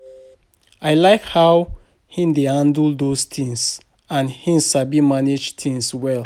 I like how he dey handle those things and he sabi manage things well